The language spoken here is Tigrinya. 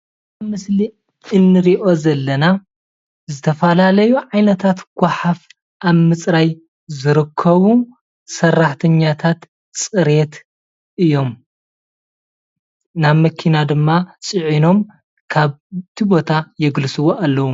ምስሊ እንሪኦ ዘለና ዝተፈላለዩ ዓይነታት ጓሓፍ ኣብ ምፅራይ ዝርከቡ ሰራሕተኛታት ፅሬት እዮም። ናብ መኪና ድማ ፅዒኖም ካብቲ ቦታ የግልስዎ ኣለዉ።